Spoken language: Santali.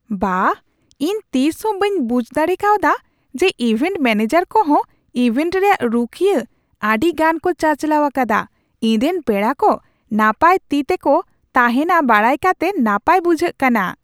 ᱵᱟᱦ, ᱤᱧ ᱛᱤᱥᱦᱚᱸ ᱵᱟᱹᱧ ᱵᱩᱡᱷ ᱫᱟᱲᱮ ᱠᱟᱣᱫᱟ ᱡᱮ ᱤᱵᱷᱮᱱᱴ ᱢᱮᱹᱱᱮᱡᱟᱨ ᱠᱚᱦᱚᱸ ᱤᱵᱷᱮᱱᱴ ᱨᱮᱭᱟᱜ ᱨᱩᱠᱷᱤᱭᱟᱹ ᱟᱹᱰᱤ ᱜᱟᱱ ᱠᱚ ᱪᱟᱪᱟᱞᱟᱣ ᱟᱠᱟᱫᱟ ! ᱤᱧ ᱨᱮᱱ ᱯᱮᱲᱟ ᱠᱚ ᱱᱟᱯᱟᱭ ᱛᱤ ᱛᱮᱠᱚ ᱛᱟᱦᱮᱱᱟ ᱵᱟᱲᱟᱭ ᱠᱟᱛᱮ ᱱᱟᱯᱟᱭ ᱵᱩᱡᱷᱟᱹᱜ ᱠᱟᱱᱟ ᱾